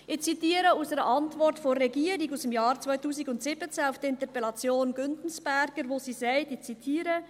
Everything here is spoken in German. Ich zitiere aus einer Antwort der Regierung aus dem Jahr 2017 auf die Interpellation Güntensperger , wo sie sagt – ich zitiere: